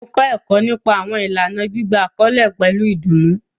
Mo kọ ẹkọ nipa awọn ilana gbigba akọle pẹlu idunnu